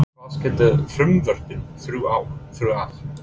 En hvað skilur frumvörpin þrjú að?